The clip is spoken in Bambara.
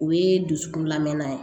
O ye dusukun lamɛn